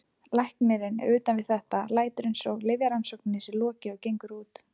Læknirinn er utan við þetta, lætur eins og lyfjarannsókninni sé lokið og gengur út.